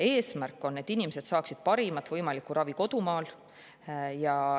Eesmärk on, et inimesed saaksid parimat võimalikku ravi kodumaal.